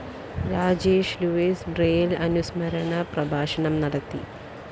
Rajesh Louis Braille അനുസ്മരണ പ്രഭാഷണം നടത്തി